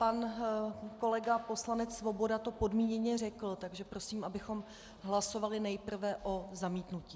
Pan kolega poslanec Svoboda to podmíněně řekl, takže prosím, abychom hlasovali nejprve o zamítnutí.